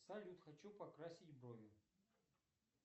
салют хочу покрасить брови